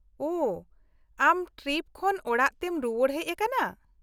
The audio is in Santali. -ᱳᱦᱚ, ᱟᱢ ᱴᱨᱤᱯ ᱠᱷᱚᱱ ᱚᱲᱟᱜ ᱛᱮᱢ ᱨᱩᱣᱟᱹᱲ ᱦᱮᱪ ᱟᱠᱟᱱᱟ ?